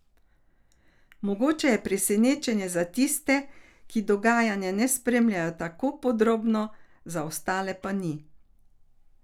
Mogoče je presenečenje za tiste, ki dogajanja ne spremljajo tako podrobno, za ostale pa ni.